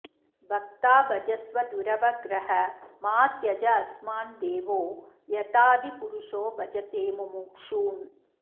भक्ता भजस्व दुरवग्रह मा त्यजास्मान् देवो यथादिपुरुषो भजते मुमुक्षून्